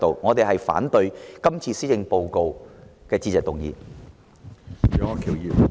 我們反對這份施政報告的致謝議案。